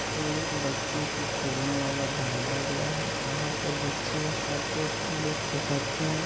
बच्चों को खेलने वाला बनाया गया है यहाँ पर बच्चे आकार लुत्फ उठाते हैं।